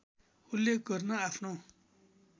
उल्लेख गर्न आफ्नो